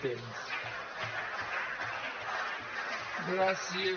gràcies